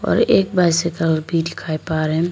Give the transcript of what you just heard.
और एक बाइसइकल भी दिखाई पा रहें--